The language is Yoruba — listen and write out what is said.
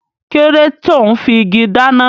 Kíló dé tò ún fi igi dáná?